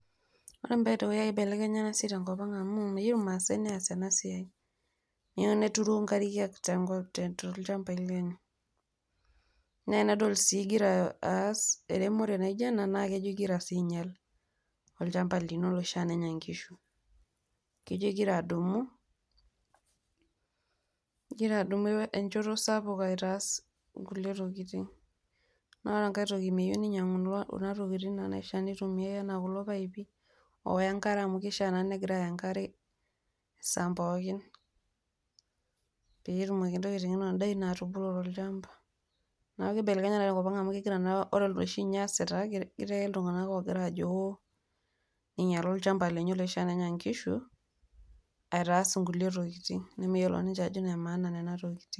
Ore peetu eibelekenya ena siaai tenkopang amuu meyeu ilmaasai neas ena siaai, meyeu neturu inkariak to lchambaii lenye, neya nidol sii igira aas eremore naijo ena naa kejo igira sii ainyal olchamba lino oshiake lonya nkishu, kejo igira adumu enchoto sapuk aitaas kule tokitin, naa ore nkae toki meyeu neinyang'u kuna tokitin naa naitumiyai anaa kulo paipi ooya enkare amu keishaa naa negira aaya inkare saa mpookin peetumoki indaa ino atupuku to olchamba, naa keibelekenyi te nkopan amu ore noshi niesita ketii ake ltungana loogira aajo oo einyala olchamba lenye loshi lonya inkishu aitaas nkule tokitin nemeyiolo ninche ajo enemaa nena tokitin.